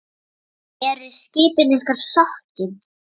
Eru skipin ykkar sokkin?